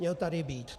Měl tady být.